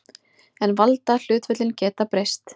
En valdahlutföllin geta breyst.